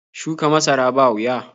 Shuka masara ba wuya.